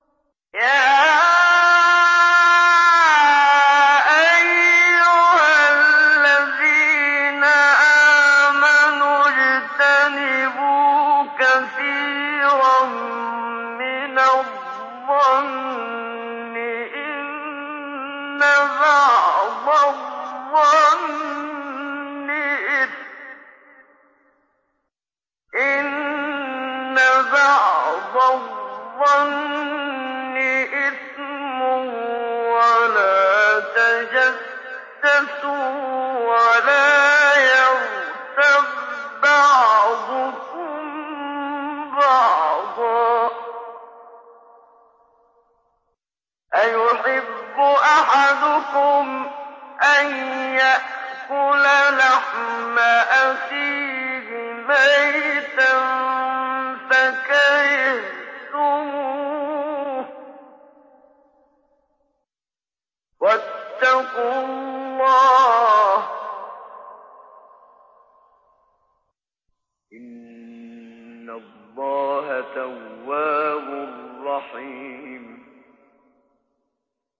يَا أَيُّهَا الَّذِينَ آمَنُوا اجْتَنِبُوا كَثِيرًا مِّنَ الظَّنِّ إِنَّ بَعْضَ الظَّنِّ إِثْمٌ ۖ وَلَا تَجَسَّسُوا وَلَا يَغْتَب بَّعْضُكُم بَعْضًا ۚ أَيُحِبُّ أَحَدُكُمْ أَن يَأْكُلَ لَحْمَ أَخِيهِ مَيْتًا فَكَرِهْتُمُوهُ ۚ وَاتَّقُوا اللَّهَ ۚ إِنَّ اللَّهَ تَوَّابٌ رَّحِيمٌ